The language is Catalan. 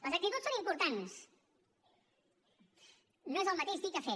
les actituds són importants no és el mateix dir que fer